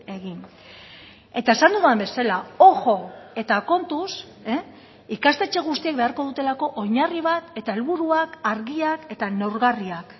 egin eta esan dudan bezala ojo eta kontuz ikastetxe guztiek beharko dutelako oinarri bat eta helburuak argiak eta neurgarriak